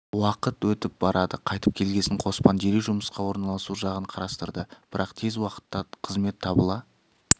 уақыт өтіп барады қайтып келгесін қоспан дереу жұмысқа орналасу жағын қарастырды бірақ тез уақытта қызмет табыла